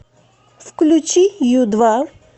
включи ю два